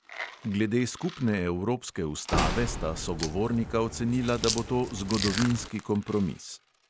Glede skupne evropske ustave sta sogovornika ocenila, da bo to zgodovinski kompromis.